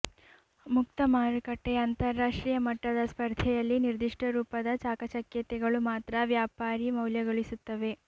ಮುಕ್ತ ಮಾರುಕಟ್ಟೆಯ ಅಂತರ್ರಾಷ್ಟ್ರೀಯ ಮಟ್ಟದ ಸ್ಪರ್ಧೆಯಲ್ಲಿ ನಿರ್ದಿಷ್ಟ ರೂಪದ ಚಾಕಚಕ್ಯತೆಗಳು ಮಾತ್ರ ವ್ಯಾಪಾರೀ ಮೌಲ್ಯಗಳಿಸುತ್ತಿವೆ